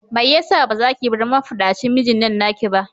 Mai yasa bazaki bar mafaɗacin mijinnan naki ba?